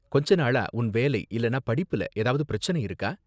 கொஞ்ச நாளா உன் வேலை இல்லனா படிப்புல ஏதாவது பிரச்சினை இருக்கா?